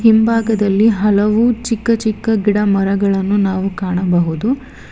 ಹಿಂಭಾಗದಲ್ಲಿ ಹಲವು ಚಿಕ್ಕ ಚಿಕ್ಕ ಗಿಡಮರಗಳನ್ನು ನಾವು ಕಾಣಬಹುದು.